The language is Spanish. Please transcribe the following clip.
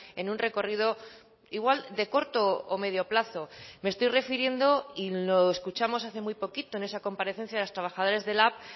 en un recorrido igual de corto o medio plazo me estoy refiriendo y lo escuchamos hace muy poquito en esa comparecencia de los trabajadores de lab